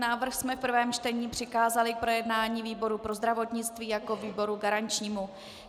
Návrh jsme v prvém čtení přikázali k projednání výboru pro zdravotnictví jako výboru garančnímu.